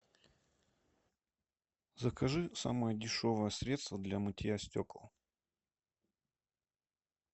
закажи самое дешевое средство для мытья стекол